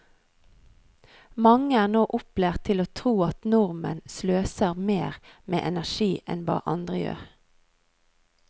Mange er nå opplært til å tro at nordmenn sløser mer med energi enn hva andre gjør.